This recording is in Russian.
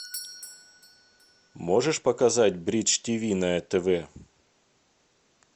можешь показать бридж тв на тв